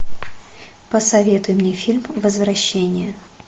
посоветуй мне фильм возвращение